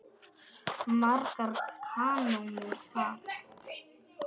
Margar kanónur þar.